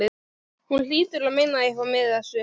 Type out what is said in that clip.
Hún hlýtur að meina eitthvað með þessu!